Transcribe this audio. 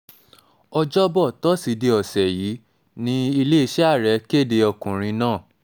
ọjọ́bọ̀ tọ́sídẹ̀ẹ́ ọ̀sẹ̀ yìí ní iléeṣẹ́ ààrẹ kéde ọkùnrin náà